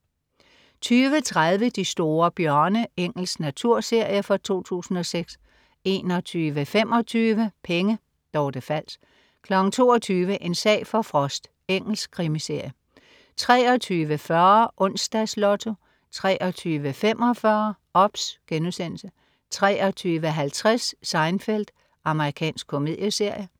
20.30 De store bjørne. Engelsk naturserie fra 2006 21.25 Penge. Dorte Fals 22.00 En sag for Frost. Engelsk krimiserie 23.40 Onsdags Lotto 23.45 OBS* 23.50 Seinfeld. Amerikansk komedieserie